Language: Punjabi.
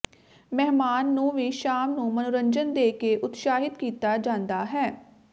ਮਹਿਮਾਨ ਨੂੰ ਵੀ ਸ਼ਾਮ ਨੂੰ ਮਨੋਰੰਜਨ ਦੇ ਕੇ ਉਤਸ਼ਾਹਿਤ ਕੀਤਾ ਜਾਦਾ ਹੈ